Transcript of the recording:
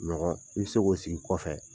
Ɲɔgɔn i bɛ se k'o sigi kɔfɛ